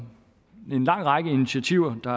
med en lang række initiativer der